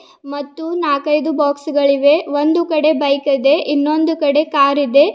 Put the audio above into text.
ಮತ್ತು ನಾಕೈದು ಬಾಕ್ಸ್ ಗಳಿವೆ ಒಂದು ಕಡೆ ಬೈಕ್ ಇದೆ ಇನ್ನೊಂದು ಕಡೆ ಕಾರ್ ಇದೆ.